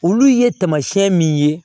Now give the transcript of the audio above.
Olu ye tamasiyɛn min ye